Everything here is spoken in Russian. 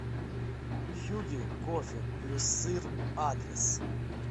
хюгге кофе плюссыр адрес